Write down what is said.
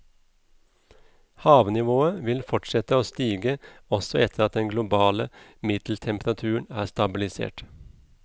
Havnivået vil fortsette å stige også etter at den globale middeltemperaturen er stabilisert.